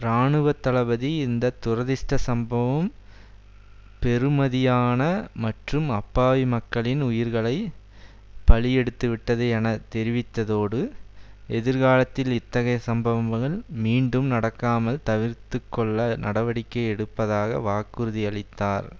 இராணுவ தளபதி இந்த துரதிஷ்ட சம்பவம் பெறுமதியான மற்றும் அப்பாவி மக்களின் உயிர்களை பலியெடுத்துவிட்டது என தெரிவித்ததோடு எதிர்காலத்தில் இத்தகைய சம்பவங்கள் மீண்டும் நடக்காமல் தவிர்த்துக்கொள்ள நடவடிக்கை எடுப்பதாக வாக்குறுதியளித்தார்